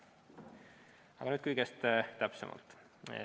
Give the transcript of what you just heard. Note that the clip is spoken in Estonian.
Aga nüüd kõigest täpsemalt.